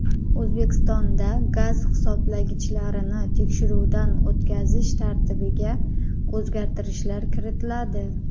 O‘zbekistonda gaz hisoblagichlarini tekshiruvdan o‘tkazish tartibiga o‘zgartirishlar kiritiladi.